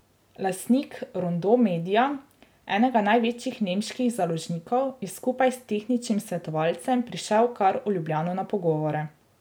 Lastnik Rondo media, enega največjih nemških založnikov, je skupaj s tehničnim svetovalcem prišel kar v Ljubljano na pogovore.